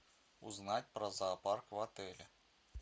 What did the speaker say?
узнать про зоопарк в отеле